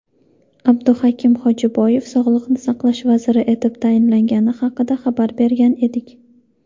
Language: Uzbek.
Abduhakim Hojiboyev Sog‘liqni saqlash vaziri etib tayinlangani haqida xabar bergan edik.